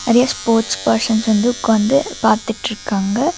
நெறையா sports persons வந்து உக்காந்து பாத்துட்ருக்காங்க.